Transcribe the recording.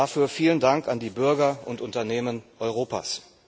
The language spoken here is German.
Dafür vielen Dank an die Bürger und Unternehmen Europas.